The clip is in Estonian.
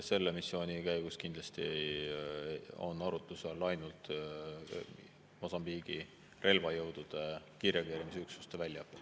Selle missiooni käigus kindlasti on arutluse all ainult Mosambiigi relvajõudude kiirreageerimisüksuste väljaõpe.